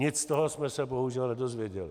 Nic z toho jsme se bohužel nedověděli.